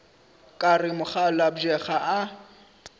ka re mokgalabje ga a